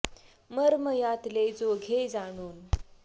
मर्म यातले जो घे जाणून